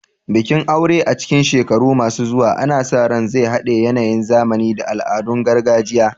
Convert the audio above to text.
Bikin aure a cikin shekaru masu zuwa ana sa ran zai haɗe yanayin zamani da al'adun gargajiya.